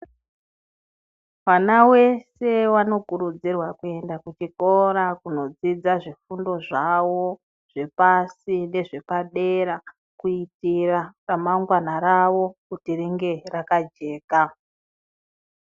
Mwana wese anokurudzirwa kuenda kuzvikora kundodzudza zvifundo zvawo zvepashi nezvepadera kuitira ramangwana rawo Kuti ringe rakajeka.